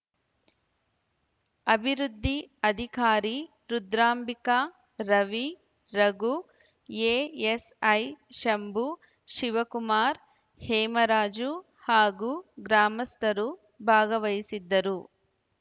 ಅಭಿವೃದ್ಧಿ ಅಧಿಕಾರಿ ರುದ್ರಾಂಬಿಕ ರವಿ ರಘು ಎಎಸ್‌ಐ ಶಂಭು ಶಿವಕುಮಾರ್‌ ಹೇಮರಾಜು ಹಾಗೂ ಗ್ರಾಮಸ್ಥರು ಭಾಗವಹಿಸಿದ್ದರು